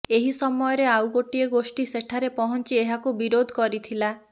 ଏହି ସମୟରେ ଆଉ ଗୋଟିଏ ଗୋଷ୍ଠୀ ସେଠାରେ ପହଞ୍ଚି ଏହାକୁ ବିରୋଧ କରିଥିଲା